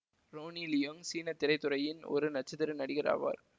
Ronnie Leung சீன திரைத்துறையின் ஒரு நட்சத்திர நடிகர் ஆவார்